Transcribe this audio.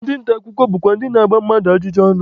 Ndị nta akụkọ bụkwa ndị na-agba mmadụ ajụjụ ọnụ.